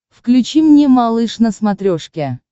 включи мне малыш на смотрешке